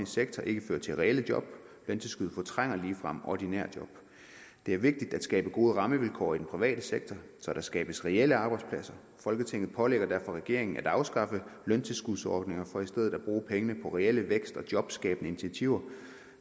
sektor ikke fører til reelle job løntilskud fortrænger ligefrem ordinære job det er vigtigt at skabe gode rammevilkår i den private sektor så der skabes reelle arbejdspladser folketinget pålægger derfor regeringen at afskaffe løntilskudsordninger for i stedet at bruge pengene på reelle vækst og jobskabende initiativer